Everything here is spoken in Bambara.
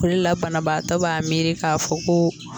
Folila banabaatɔ b'a miri k'a fɔ ko.